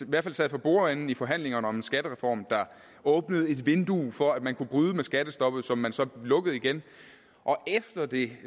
i hvert fald sad for bordenden i forhandlingerne om en skattereform der åbnede et vindue for at man kunne bryde med skattestoppet som man så lukkede igen efter det